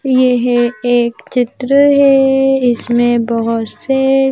यह एक चित्र है इसमें बहुत से--